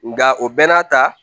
Nga o bɛɛ n'a ta